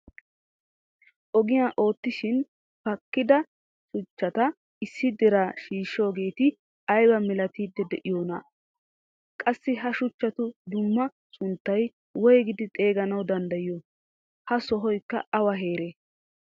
Ogiyaa oottishin pakahida shuchchata issi diraa shiishoogeti aybaa milattiidi de'iyoonaa? qassi ha shuchchatu dumma sunttaa woyqidi xeeganawu danddayiyoo? ha sohoykka awa heeree?